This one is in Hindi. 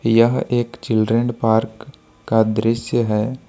यह एक चिल्ड्रन पार्क का दृश्य है।